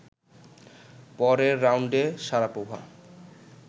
পরের রাউন্ডে শারাপোভা